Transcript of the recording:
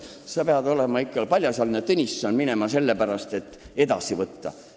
Sa pead olema ikka paljasjalgne Tõnisson, et niimoodi minna ja napsu võtta.